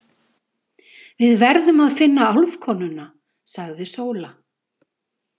Við verðum að finna álfkonuna, sagði Sóla.